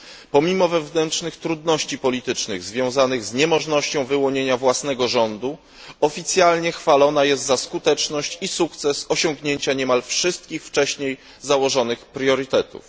Pomimo wewnętrznych trudności politycznych związanych z niemożnością wyłonienia własnego rządu, oficjalnie chwalona jest za skuteczność i sukces osiągnięcia niemal wszystkich wcześniej założonych priorytetów.